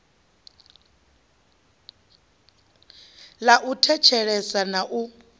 ḽa u tshetshelesa na u